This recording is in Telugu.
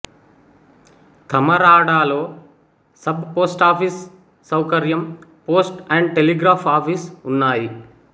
తమరాడలో సబ్ పోస్టాఫీసు సౌకర్యం పోస్ట్ అండ్ టెలిగ్రాఫ్ ఆఫీసు ఉన్నాయి